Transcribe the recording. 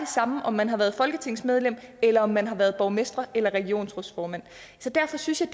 samme om man har været folketingsmedlem eller om man har været borgmester eller regionsrådsformand så derfor synes jeg